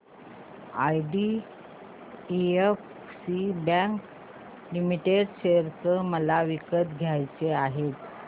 IDFC bank limited share मला विकत घ्यायचे आहेत